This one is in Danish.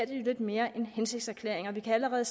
lidt mere en hensigtserklæring og vi kan allerede